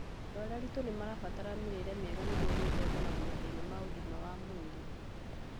Andũ arĩa aritũ nĩmarabatara mĩrĩre mĩega nĩguo gwĩthemana na mathĩna ma ũgima wa mwĩrĩ